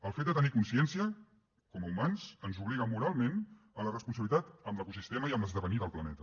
el fet de tenir consciència com a humans ens obliga moralment a la responsabilitat amb l’ecosistema i amb l’esdevenir del planeta